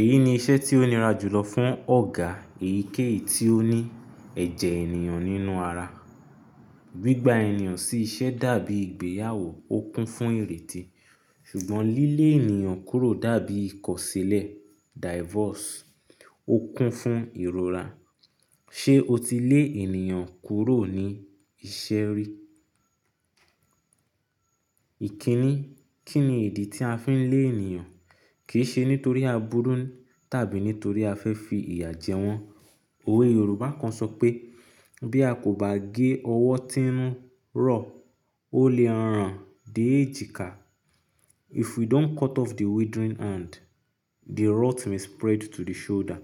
Èyí ni iṣẹ́ tí ó nira jùlọ fún ọ̀gá èyíkéyìí tí ó ní ẹ̀jẹ̀ ènìyàn nínú ara. Gbigba ènìyàn sí iṣẹ́ dàbí ìgbéyàwó, ó kún fún ìrètí ṣùgbọ́n lílé ènìyàn kúrò dàbí ìkọ̀sílẹ̀ divorce, ó kún fún ìrora. Ṣé o ti lé ènìyàn kúrò ní iṣẹ́ rí? Ìkíni, kí ni ìdí tí a fi n lé ènìyàn? Kì í ṣe nítorí àbúrú tàbí nítorí a fẹ́ fi ìyà jẹ wọ́n. Òwe Yorùbá kan sọ pé “bí a kò bá gé ọwọ́ tínú rọ̀, ó lè ràn dé èjìká”. If we don’t cut off the withering hand, the rot may spread to the shoulder.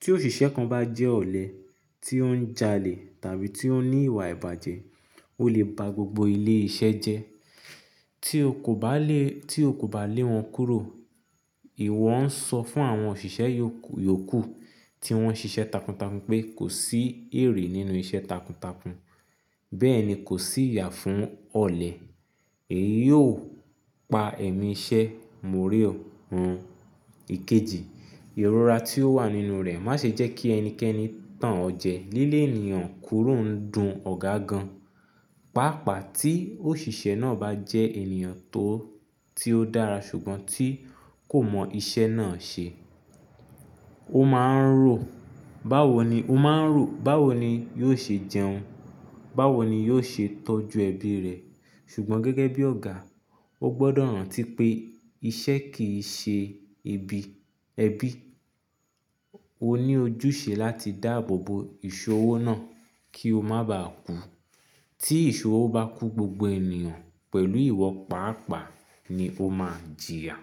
Tí òṣìṣẹ́ kan bá jẹ́ ọ̀lẹ, tí ó ń jalè tàbí tí ó ní ìwà ìbàjẹ́, ó lè ba gbogbo ilé iṣẹ́ jẹ tí o kò bá lé, tí o kò bá lé wọn kúrò. Ìwọ ń sọ fún àwọn òṣìṣẹ́ yòò, yòókù tí wọ́n n ṣiṣẹ́ takuntakun pé kò sí èrè nínú iṣẹ́ takuntakun. Bẹ́ẹ̀ ni, kò sí ìyà fún ọ̀lẹ. Èyí ó pa ẹ̀mí iṣẹ́ móòrè òun. Ikeji, ìrora tí ó wà nínú rẹ̀ má ṣe jẹ́ kí ẹnikẹ́ni tàn ọ́ jẹ. Lílè ènìyàn kúrò ń dun ọ̀gá gan, pàápàá tí òṣìṣẹ́ náà bá jẹ́ ènìyàn tó, tí ó dára ṣùgbọ́n tí kò mọ iṣẹ́ náà ṣe. Ó máa ń rò báwo ni, ó máa ń rò báwo ni yóò ṣe jẹun, báwo ni yóò ṣe tọ́jú ẹbí rẹ̀. Ṣùgbọ́n gẹ́gẹ́ bí ọ̀gá, ó gbọ́dọ̀ rántí pé iṣẹ́ kì í ṣe ẹbí, ẹbí. O ní ojúṣe láti dáàbò bo ìṣòwò náà kí o má bàá kú. Tí ìṣòwò bá kú, gbogbo ènìyàn pẹ̀lú ìwọ pàápàá ni ó máa jìyà.